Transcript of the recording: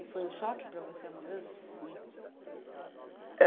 E foi um choque para você a mudança? Eh